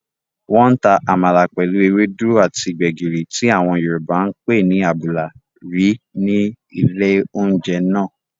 Wọ́n ta àmàlà pẹ̀lú ewédú àti gbẹ̀gìrì tí àwọn yorùbá ǹ pé ní àbùlà rí ní ilé oúnjẹ náà